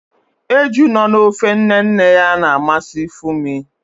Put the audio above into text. Eju nọ na ofe nne nne ya na-amasị Funmi